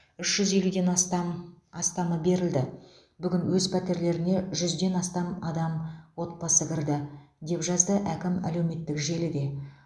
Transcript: үш жүз елуден астам астамы берілді бүгін өз пәтерлеріне жүзден астам отбасы кірді деп жазды әкім әлеуметтік желіде